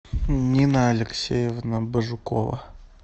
нина алексеевна бажукова